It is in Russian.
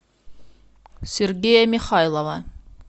сергея михайлова